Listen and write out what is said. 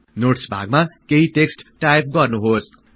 notes भागमा केही text type गर्नुहोस्